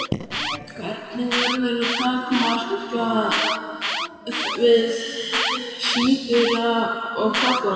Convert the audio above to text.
Hvernig verður það takmarkað við síður og kafla?